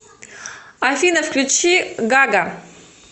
афина включи гага